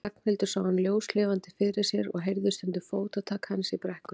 Ragnhildur sá hann ljóslifandi fyrir sér og heyrði stundum fótatak hans í brekkunni.